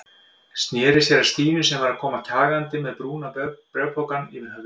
Sneri sér að Stínu sem var að koma kjagandi með brúna bréfpokann yfir höfðinu.